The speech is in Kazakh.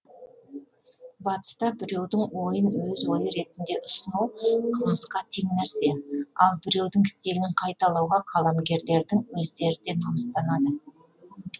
батыста біреудің ойын өз ойы ретінде ұсыну қылмысқа тең нәрсе ал біреудің стилін қайталауға қаламгерлердің өздері де намыстанады